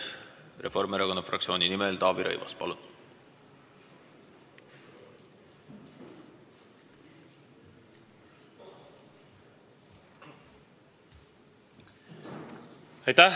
Reformierakonna fraktsiooni nimel Taavi Rõivas, palun!